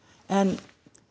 en